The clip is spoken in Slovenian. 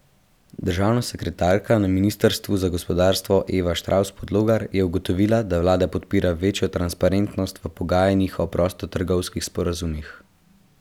Državna sekretarka na ministrstvu za gospodarstvo Eva Štravs Podlogar je zagotovila, da vlada podpira večjo transparentnost v pogajanjih o prostotrgovinskih sporazumih.